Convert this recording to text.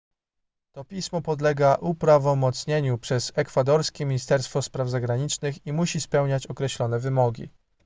to pismo podlega uprawomocnieniu przez ekwadorskie ministerstwo spraw zagranicznych i musi spełniać określone wymogi